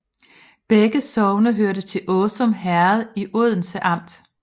Begge sogne hørte til Åsum Herred i Odense Amt